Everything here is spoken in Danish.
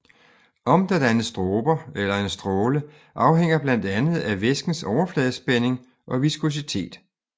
Om der dannes dråber eller en stråle afhænger blandt andet af væskens overfladespænding og viskositet